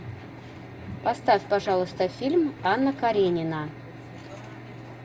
поставь пожалуйста фильм анна каренина